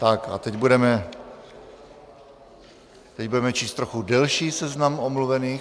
Tak a teď budeme číst trochu delší seznam omluvených.